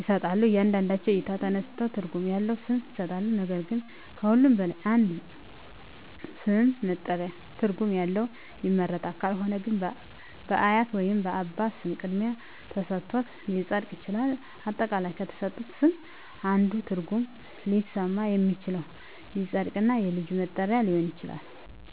ይሠጣሎ ከእያንዳንዳቸው እይታ ተነስተው ትርጉም ያለው ስም ይሠጣሉ ነገር ግን ከሁሉም በላይ አንድ ስም ለመጠሪያ ትርጉም ያለው ይመረጣል ካልሆነ ግን በአያት ወይንም በአባት ስም ቅድሚያ ተሠጥቶት ሊፀድቅ ይችላል። አጠቃላይ ከተሠጡት ስም አንዱ ትርጉም ሊስማማ የሚችለው ይፀድቅ እና የልጁ መጠሪ ሊሆን ይችላል